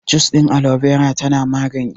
Jus ɗin Alobera tana magani